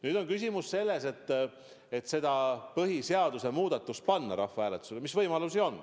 Nüüd on küsimus selles, mis võimalused on panna see põhiseaduse muudatus rahvahääletusele.